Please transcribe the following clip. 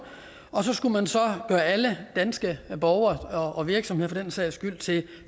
og så skulle man så gøre alle danske borgere og virksomheder for den sags skyld til